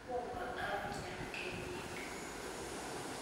tomo amnyaan kenyini